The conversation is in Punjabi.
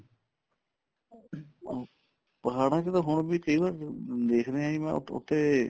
ਪਹਾੜਾਂ ਚ ਤਾਂ ਹੁਣ ਵੀ ਕਈ ਵਾਰ ਦੇਖਦੇ ਹਾਂ ਉੱਤੇ